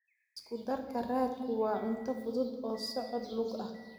Isku darka raadku waa cunto fudud oo socod lug ah.